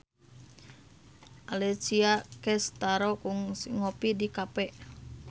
Alessia Cestaro kungsi ngopi di cafe